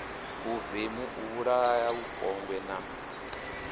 vhuvemu u vhulaha vhupombwe na